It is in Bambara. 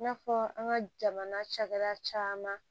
I n'a fɔ an ka jamana cakɛda caman